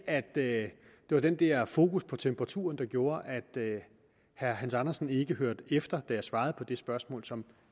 at det var den der fokus på temperaturen der gjorde at herre hans andersen ikke hørte efter da jeg svarede på det spørgsmål som